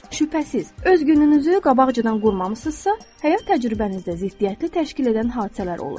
Şübhəsiz, öz gününüzü qabaqcadan qurmamısınızsa, həyat təcrübənizdə ziddiyyətli təşkil edən hadisələr olur.